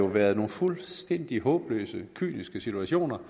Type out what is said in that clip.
været nogle fuldstændig håbløse situationer